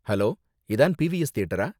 Hello, இதான் P V S தியேட்டரா?